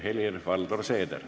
Helir-Valdor Seeder.